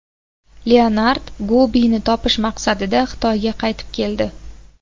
Leonard Gobini topish maqsadida Xitoyga qaytib keldi.